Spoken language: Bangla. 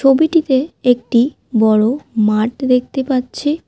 ছবিটিতে একটি বড়ো ছবিটিতে একটি বড়ো মাঠ দেখতে পাচ্ছি।